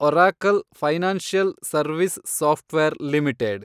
Oracle financial service software limited